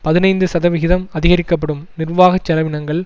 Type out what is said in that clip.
பதினைந்து சதவிகிதம் அதிகரிக்கப்படும் நிர்வாகச் செலவினங்கள்